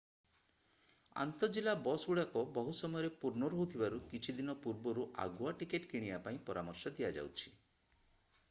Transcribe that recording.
ଆନ୍ତଃ-ଜିଲ୍ଲା ବସଗୁଡ଼ିକ ବହୁ ସମୟରେ ପୂର୍ଣ୍ଣ ରହୁଥିବାରୁ କିଛି ଦିନ ପୂର୍ବରୁ ଆଗୁଆ ଟିକେଟ୍ କିଣିବା ପାଇଁ ପରାମର୍ଶ ଦିଆଯାଉଛି